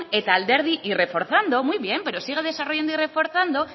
y reforzando pero sigue desarrollando y reforzando